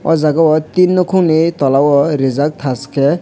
o jaga o tin nokong ni tola o rijak tash ke.